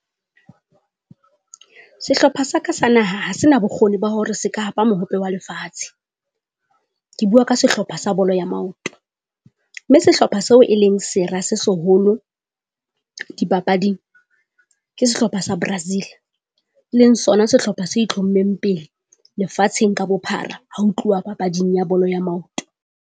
Sehlopha sa ka sa naha ha se na bokgoni ba hore se ka hapa mohope wa lefatshe. Ke bua ka sehlopha sa bolo ya maoto, mme sehlopha seo e leng sera se seholo dipapading ke sehlopha sa Brazil. Leng sona sehlopha se itlhommeng pele lefatsheng ka bophara ha o tluwa papading ya bolo ya maoto.